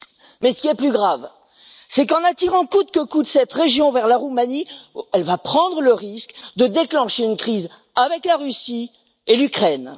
Mais, ce qui est plus grave, c'est qu'en attirant coûte que coûte cette région vers la Roumanie, elle va prendre le risque de déclencher une crise avec la Russie et l'Ukraine.